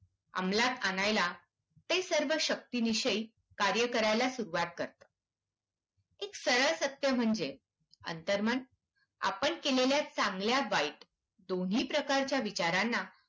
अंमलात आणायला ते सर्व शक्तिनिशी कार्य करायला सुरुवात करते. एक सरळ सत्य म्हणजे अंतर्मन आपण केलेल्या चांगल्या वाईट दोन्ही प्रकारच्या विचारांना